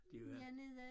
Det var